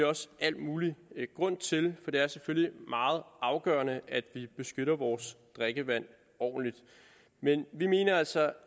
også al mulig grund til for det er selvfølgelig meget afgørende at vi beskytter vores drikkevand ordentligt men vi mener altså